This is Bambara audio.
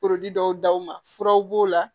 dɔw d'aw ma furaw b'o la